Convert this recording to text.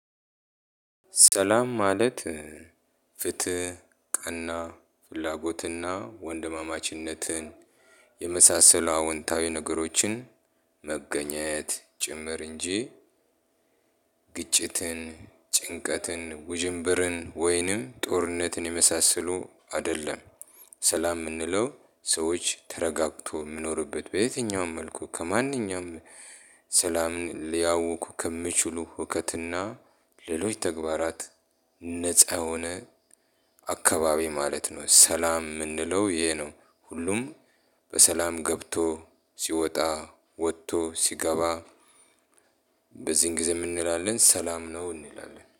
ሰላም ማለት ፍትህ ቀና ፍላጎትና ወንድማማችነትን የመሳሰሉ አዎንታዊ ነገሮችን መገኘት ጭምር እንጂ ግጭትን ጭንቀትን ውዥንብርን ወይንም ጦርነትን የመሳሰሉ አይደለም። ሰላም የምንለው ሰዎች ተረጋግተው የሚኖሩበት በየትኛውም መልኩ ከማንኛውም ሰላምን ሊያውኩ ከሚችሉ ሁከትና ሌሎች ተግባራት ነፃ የሆነ አካባቢ ማለት ነው። ሰላም የምንለው ይሄ ነው። ሁሉም በሰላም ገብቶ ሲወጣ ወጥቶ ሲገባ። በዚህን ጊዜ ምን እንላለን ሰላም ነው እንላለን